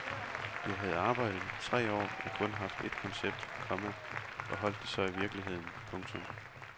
Jeg havde arbejdet tre år og kun haft et koncept, komma og holdt det så i virkeligheden. punktum